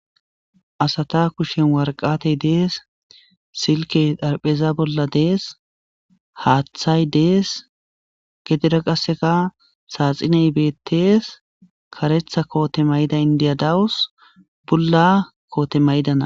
asata kushen warqatey dees silke dharpheza bolla dees haaththay dees gedira qasseka saaxiney bettees karetha koote mayda indiyadawus bulla koote maydana